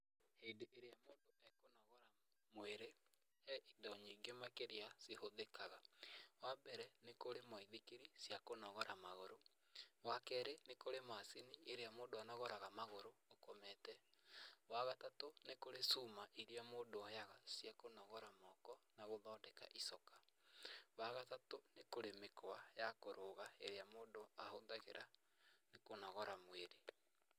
Hĩndĩ ĩrĩa mũndũ e kũnogora mwĩrĩ, he indo nyingĩ makĩria cihũthĩkaga, wambele nĩkurĩ mũithikiri cia kũnogora magũrũ, wakerĩ nĩ kũrĩ macini irĩa mũndũ anogoragara magũrũ ũkomete, wagatatũ nĩkũrĩ cũma irĩa mũndũ oyaga cia kũnogora moko na gũthondeka icoka, wagatatũ nĩkũri mĩkwa ya kũrũga ĩrĩa mũndũ ahũthagĩra kũnogora mwĩlĩ.